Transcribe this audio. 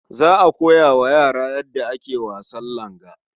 Za a koya wa yaran yadda ake wasan langa.